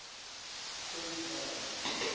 his name